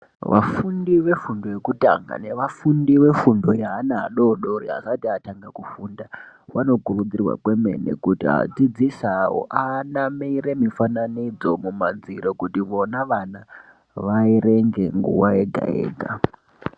Vafundi vefundo yekutanga nevafundi vefundo yeana vadodori asati vatanga kufunda. Vanokurudzirwa kwemene kuti adzidzisi avo anamire mifananidzo kumadziro kuti vona vana vaerenge nguva yega-yega.